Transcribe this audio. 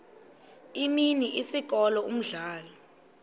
imini isikolo umdlalo